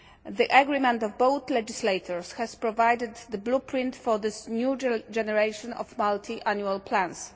The agreement of both legislators has provided the blueprint for this new generation of multi annual plans.